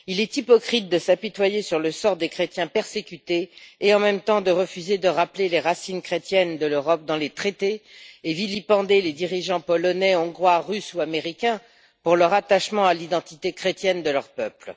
Il est hypocrite de s'apitoyer sur le sort des chrétiens persécutés tout en refusant de rappeler les racines chrétiennes de l'Europe dans les traités et en vilipendant les dirigeants polonais, hongrois, russes ou américains pour leur attachement à l'identité chrétienne de leur peuple.